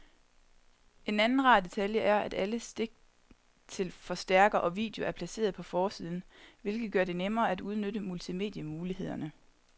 En anden rar detalje er, at alle stik til forstærker og video er placeret på forsiden, hvilket gør det nemmere at udnytte multimedie-mulighederne.